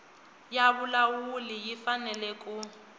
ya vulawuli yi fanele ku